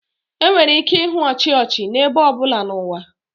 Enwere ike ịhụ ọchị ọchị n'ebe ọ bụla n'ụwa